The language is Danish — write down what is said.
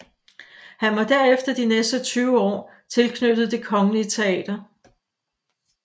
Han var derefter de næste 20 år tilknyttet Det kongelige Teater